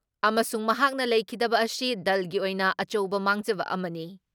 ꯑꯃꯁꯨꯡ ꯃꯍꯥꯛꯅ ꯂꯩꯈꯤꯗꯕ ꯑꯁꯤ ꯗꯜꯒꯤ ꯑꯣꯏꯅ ꯑꯆꯧꯕ ꯃꯥꯡꯖꯕ ꯑꯃꯅꯤ ꯫